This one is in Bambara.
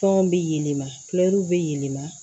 Tɔn bɛ yɛlɛma kulɛri bɛ yɛlɛma